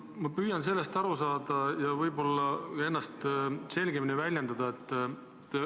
Ma püüan teist aru saada ja ennast selgemini väljendada.